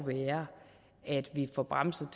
fremmest